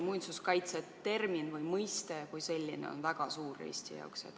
Muinsuskaitse termin või mõiste kui selline on ikkagi Eesti jaoks väga oluline.